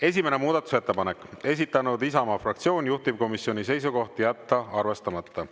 Esimene muudatusettepanek, esitanud Isamaa fraktsioon, juhtivkomisjoni seisukoht on jätta arvestamata.